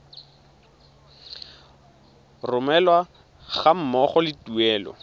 romelwa ga mmogo le tuelo